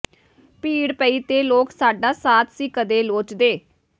ਭੀੜ ਪਈ ਤੇ ਲੋਕ ਸਾਡਾ ਸਾਥ ਸੀ ਕਦੇ ਲੋਚਦੇ